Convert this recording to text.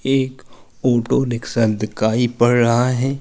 एक ऑटो दिकाई पड़ रहा है।